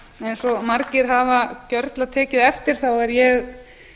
eins og margir hafa gjörla tekið eftir er ég